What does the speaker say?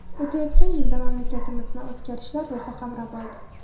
O‘tayotgan yilda mamlakatimizni o‘zgarishlar ruhi qamrab oldi.